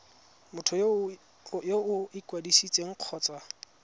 motho yo o ikwadisitseng kgotsa